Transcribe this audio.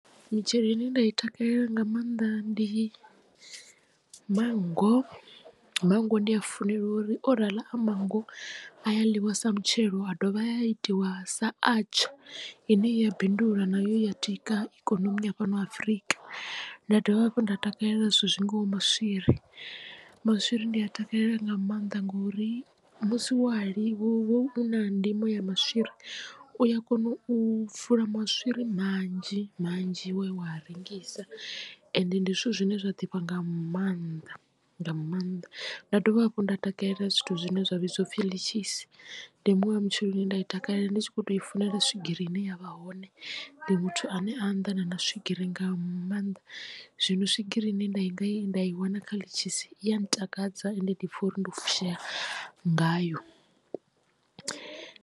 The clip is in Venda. Mitshelo ine nda i takalela nga maanḓa ndi manngo ndi a funela uri orala a mango a ya ḽiwa sa mutshelo a dovha a ya itiwa sa atsha ine i ya bindula nayo i ya tika ikonomi ya fhano Afrika. Nda dovha hafhu nda takalela zwithu zwingaho maswiri maswiri ndi a takalela nga maanḓa ngori musi wa lima wo a u na ndimo ya maswiri u ya kona u fula maswiri manzhi manzhi wa ya wa rengisa ende ndi zwithu zwine zwa ḓifha nga maanḓa nga maanḓa. Nda dovha hafhu nda takalela zwithu zwine zwa vhidziwa upfhi ḽishisi ndi muṅwe wa mutshelo ye nda i takalela ndi tshi kho to i funela swigiri ine ya vha hone ndi muthu ane a nnḓa na swigiri nga maanḓa zwino swigiri ine nda i nga ye nda i wana kha ḽitshisi i ya ntakadza ende ndi pfha uri ndi fushea ngayo.